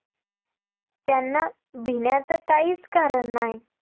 त्यांना भिण्याचं काहीच कारण नाही